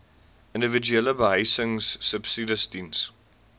individuele behuisingsubsidies diens